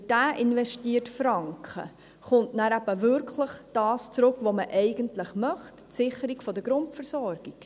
Für diesen investierten Franken kommt nachher eben wirklich das zurück, was man eigentlich möchte: die Sicherung der Grundversorgung.